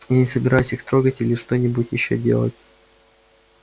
я не собираюсь их трогать или что-нибудь ещё делать